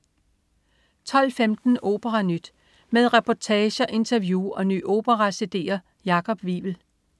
12.15 OperaNyt. Med reportager, interview og nye opera-cd'er. Jakob Wivel